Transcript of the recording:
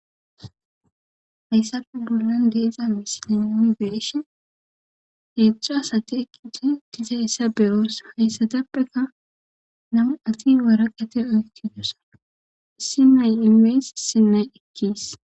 hayssappe bollan deeza misiniami beeshi heedzecu asate eqite tiza issa beroosa hayssatappeka namu ati waraqate oyti dosa isi nay inmees sinay ekkis